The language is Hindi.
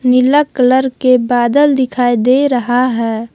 नीला कलर के बादल दिखाई दे रहा है।